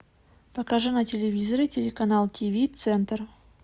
покажи на телевизоре телеканал тиви центр